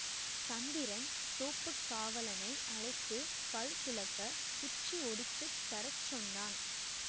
சந்திரன் தோப்புக் காவலாளை அழைத்து பல் துலக்கக் குச்சி ஒடித்துத் தரச் சொன்னான்